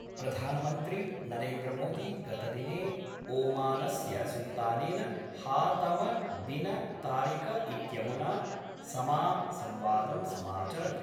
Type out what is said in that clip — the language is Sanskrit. प्रधानमन्त्री नरेन्द्र मोदी गतदिने ओमानस्य सुल्तानेन हातम बिन तारिक इत्यमुना समा संवादं समाचरत्।